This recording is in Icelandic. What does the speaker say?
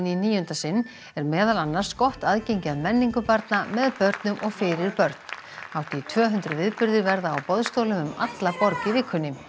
níunda sinn er meðal annars gott aðgengi að menningu barna með börnum og fyrir börn hátt í tvö hundruð viðburðir verða á boðstólum um alla borg í vikunni